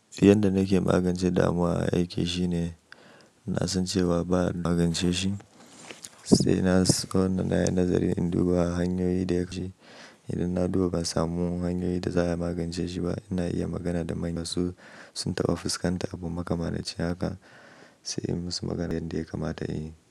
Yanda nake magance damuwa a aiki shine, na san cewa ba a magance shi sai na san nayi nazari in duba hanyoyi da yake. Idan na duba ban samu hanyoyi da za a magance shi ba, ina iya magana da manya su sun taba fuskanta abu makamancin haka sai in musu maganar yanda ya kamata a yi.